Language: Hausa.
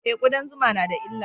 E, kudan zuma na da illa.